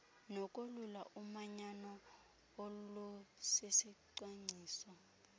nokolula umanyano olusisicwangciso